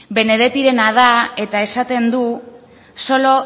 benedettirena da eta esaten du solo